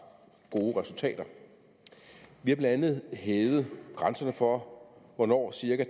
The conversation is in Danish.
gode resultater vi har blandt andet hævet grænserne for hvornår cirka